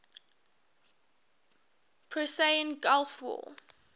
persian gulf war